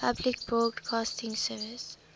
public broadcasting service